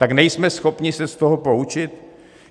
Tak nejsme schopni se z toho poučit?